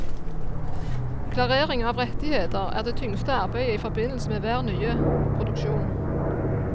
Klarering av rettigheter er det tyngste arbeidet i forbindelse med hver nye produksjon.